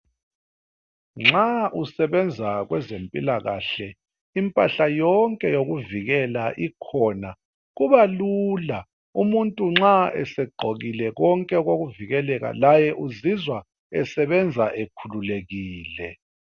Nxa usebenza kwezempilakahle impahla yonke yokuvikela ikhona kubalula umuntu nxa esegqokile konke okokuvikeleka laye uzizwa esebenza ekhululekile.